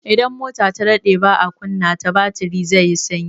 Idan mota ta daɗe baa kunna ta, batiri zai sanyi.